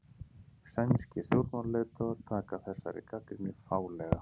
Sænskir stjórnmálaleiðtogar taka þessari gagnrýni fálega